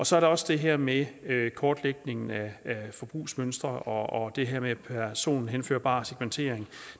så er der også det her med kortlægningen af forbrugsmønstre og det her med personhenførbar segmentering og